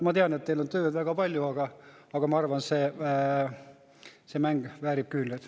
Ma tean, et teil on tööd väga palju, aga ma arvan, et see mäng väärib küünlaid.